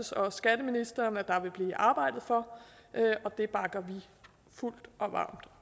og skatteministeren er der blive arbejdet for og det bakker vi fuldt og varmt